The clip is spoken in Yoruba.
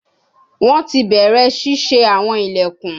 Wọn ti bẹrẹ ṣiṣe awọn ilẹkun